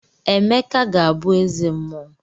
Emeka ga-abụ eze mmuo.